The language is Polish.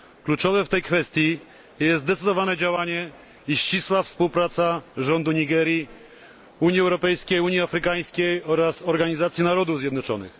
Kluczowe w tej kwestii jest zdecydowane działanie i ścisła współpraca rządu Nigerii, Unii Europejskiej, Unii Afrykańskiej oraz ONZ.